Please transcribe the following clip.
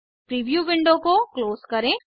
preview window को close करें